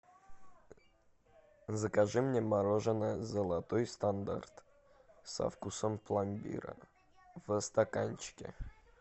закажи мне мороженое золотой стандарт со вкусом пломбира в стаканчике